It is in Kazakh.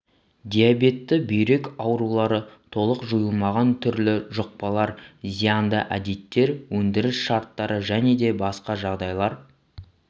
диабеті бүйрек аурулары толық жойылмаған түрлі жұқпалар зиянды әдеттер өндіріс шарттары және де басқа жағдайдар